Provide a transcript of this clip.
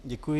Děkuji.